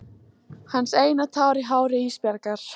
Hans eina tár í hári Ísbjargar.